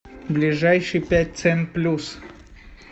ближайший пять цен плюс